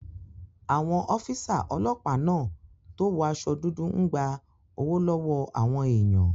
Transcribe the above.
Àwọn ọ́físà ọlọ́pàá náà tó wọ aṣọ dúdú n gba owó lọ́wọ́ àwọn èèyàn